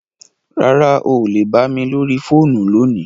Rárá, o lè bà mi lórí fóònù lóní.